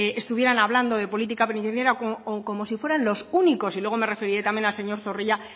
estuvieran hablando de política penitenciaria o como si fueran los únicos y luego me referiré también al señor zorrilla